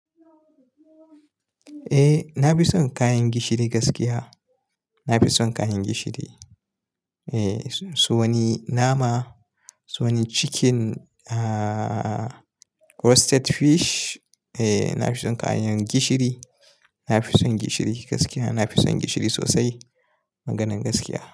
Eh, na fi son kayan gishiri gaskiya. Na fi son kayan gishiri. Eh, so wani nama, so wani chicken, ah, roasted fish. Eh, na fi son kayan gishiri. Na fi son gishiri gaskiya. Na fi son gishiri sosai. Maganan gaskiya.